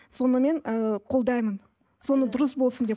соны мен қолдаймын соны дұрыс болсын деп